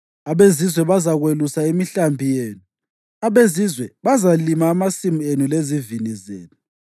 Abezizwe bazakwelusa imihlambi yenu; abezizwe bazalima amasimu enu lezivini zenu.